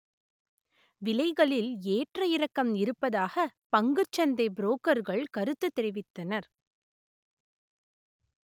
விலைகளில் ஏற்ற இறக்கம் இருப்பதாக பங்குச் சந்தை புரோக்கர்கள் கருத்து தெரிவித்தனர்